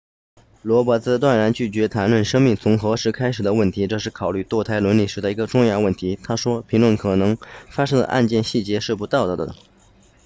罗伯茨断然拒绝谈论生命从何时开始的问题这是考虑堕胎伦理时的一个重要问题他说评论可能发生的案件细节是不道德的